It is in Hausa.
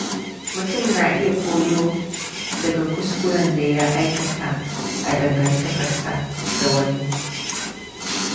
Mutum na iya koyo daga kuskuren da ya aikata a dangantakarsa da wani.